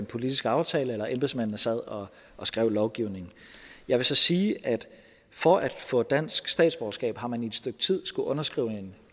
politisk aftale eller da embedsmændene sad og og skrev lovgivningen jeg vil så sige at for at få dansk statsborgerskab har man i et stykke tid skullet underskrive